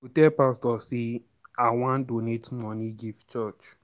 I go tell pastor say I wan donate money give church.